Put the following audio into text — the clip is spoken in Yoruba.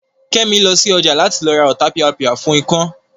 Kẹ́mi lọ sí ọjà láti lọ ra Ọ̀tapìàpìà fún ikán